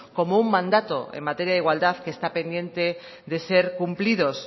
como un mandato en materia de igualdad que está pendiente de ser cumplido